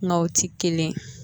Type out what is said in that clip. Mɛ o ti kelen